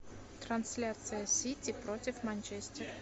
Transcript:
трансляция сити против манчестер